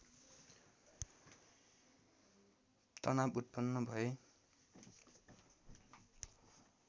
तनाव उत्पन्न भए